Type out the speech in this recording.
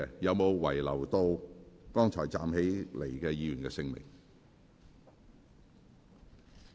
有沒有遺漏剛才站立的議員的姓名？